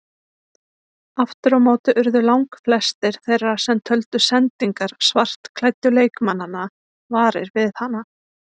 Aftur á móti urðu langflestir þeirra sem töldu sendingar svartklæddu leikmannanna varir við hana.